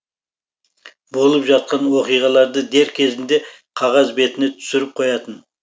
болып жатқан оқиғаларды дер кезінде қағаз бетіне түсіріп қоятын